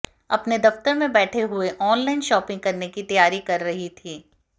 अपने दफ्तर में बैठे हुए वो ऑनलाइन शॉपिंग करने की तैयारी कर रही थी